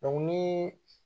nii